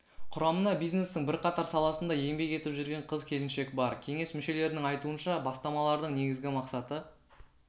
құрамына бизнестің бірқатар саласында еңбек етіп жүрген қыз-келіншек бар кеңес мүшелерінің айтуынша бастамалардың негізгі мақсаты